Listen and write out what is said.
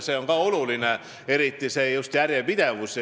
See on ka oluline, eriti just see järjepidevus.